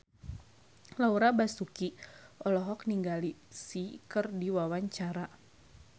Laura Basuki olohok ningali Psy keur diwawancara